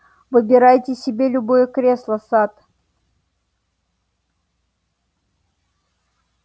выбирайте себе любое кресло сатт